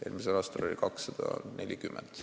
Eelmisel aastal oli sünnitusi 240.